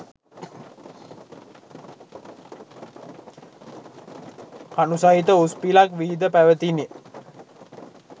කණු සහිත උස් පිලක් විහිද පැවතිණ.